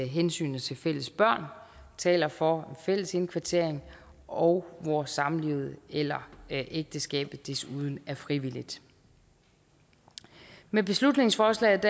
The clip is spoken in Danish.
hensynet til fælles børn taler for fælles indkvartering og hvor samlivet eller ægteskabet desuden er frivilligt med beslutningsforslaget